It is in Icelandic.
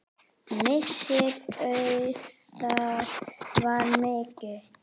Missir Auðar var mikill.